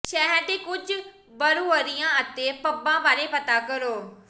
ਸ਼ਹਿਰ ਦੇ ਕੁਝ ਬਰੂਅਰੀਆਂ ਅਤੇ ਪੱਬਾਂ ਬਾਰੇ ਪਤਾ ਕਰੋ